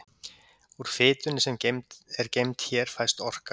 Úr fitunni sem er geymd hér fæst orka.